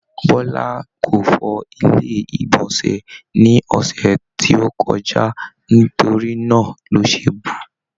Bọla kò fọ ilé igbọnsẹ ni ọsẹ tí o kọjá, nítorí náà lo se bu.